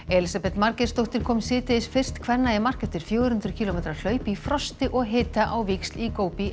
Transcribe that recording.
Elísabet Margeirsdóttir kom nú síðdegis fyrst kvenna í mark eftir fjögur hundruð kílómetra hlaup í frosti og hita á víxl í